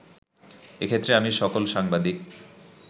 এক্ষেত্রে আমি সকল সাংবাদিক